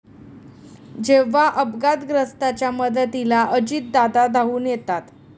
जेव्हा अपघातग्रस्ताच्या मदतीला अजितदादा धावून येतात!